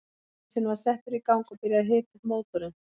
Prímusinn var settur í gang og byrjað að hita upp mótorinn.